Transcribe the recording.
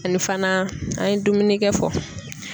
Ani fana an ye dumunikɛ fɔ.